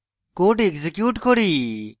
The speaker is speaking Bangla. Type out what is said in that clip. code execute করি